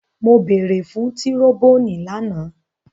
Mo beere fun tiroboni lana!